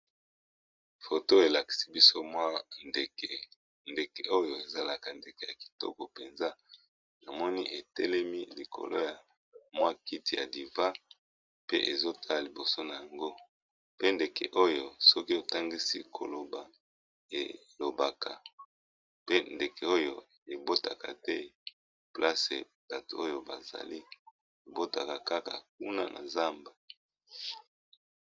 Photo e lakisi biso mwa ndeke, ndeke oyo e zalaka ndeke ya kitoko penza, na moni e telemi likolo ya mwa kiti ya didivan pe ezo tala liboso n'ango, pe ndeke oyo soki o tangisi ko loba el obaka, pe ndeke oyo e botaka te place bato oyo ba zali, e botaka kaka kuna na zamba .